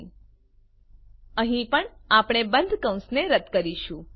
n અહી પણ આપણે બંધ કૌંસને રદ્દ કરીશું